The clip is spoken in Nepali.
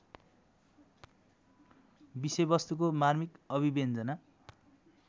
विषयवस्तुको मार्मिक अभिव्यञ्जना